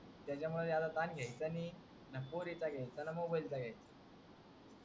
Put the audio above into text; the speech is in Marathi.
त्याचा मूळ जास्त तन घ्यायचं नाही ना पोरीचा घ्यायचं न मोबाईलचा घ्यायचं